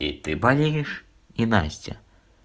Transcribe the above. и ты болеешь и настя